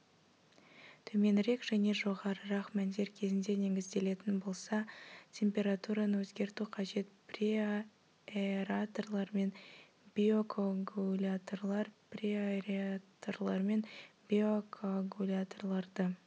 төменірек және жоғарырақ мәндер кезінде негізделетін болса температураны өзгерту қажет преаэраторлар мен биокоагуляторлар преаэраторлар мен биокоагуляторларды